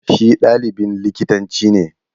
Shi ɗalibin likitanci ne.